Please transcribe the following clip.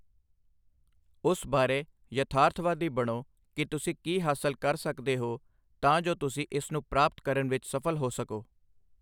ਉਸ ਬਾਰੇ ਯਥਾਰਥਵਾਦੀ ਬਣੋ ਕਿ ਤੁਸੀਂ ਕੀ ਹਾਸਲ ਕਰ ਸਕਦੇ ਹੋ ਤਾਂ ਜੋ ਤੁਸੀਂ ਇਸ ਨੂੰ ਪ੍ਰਾਪਤ ਕਰਨ ਵਿੱਚ ਸਫਲ ਹੋ ਸਕੋ।